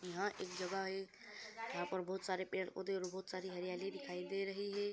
यहाँ एक जगह है यहाँ पर बहोत सारे पड़े-पौधे और बहोत सारी हरियाली दिखाई दे रही है।